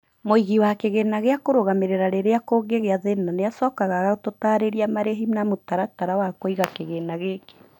mũigĩ wa kigĩna gĩa kũrũgamĩrĩa rĩrĩa kũngĩgĩa thîna nĩ acokaga agagũtarira marĩhi na mutaratara wa kuĩga kîgĩna gĩkĩ